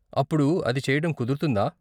అప్పుడు అది చెయ్యటం కుదురుతుందా?